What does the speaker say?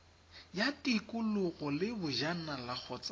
ya tikologo le bojanala kgotsa